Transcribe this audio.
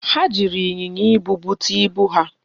Ha jiri ịnyịnya ibu bute ibu ha?